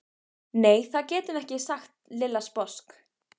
Nei, það getum við ekki sagði Lilla sposk.